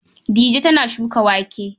Dija tana shuka wake.